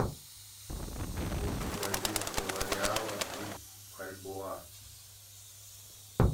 курс бразильского реала и бальбоа